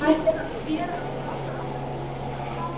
Ætlar hann sér að barna allar systurnar?